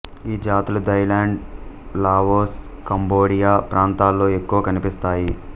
ఈ జాతులు Thailand Laos Cambodia ప్రాంతాల్లో ఎక్కువగా కనిపిస్తాయి